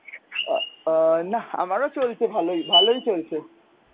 আ~ আ~ নাহহঃ আমারো চলছে ভালই, ভালই চলছে.